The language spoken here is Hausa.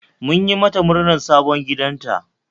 Mun yi mata murnar sabon gidanta